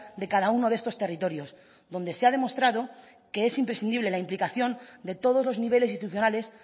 de cada uno de estos territorios donde se ha demostrado que es imprescindible la implicación de todos los niveles institucionales